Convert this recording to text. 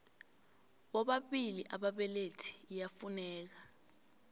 bobabili ababelethi iyafuneka